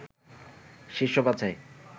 শীর্ষ বাছাই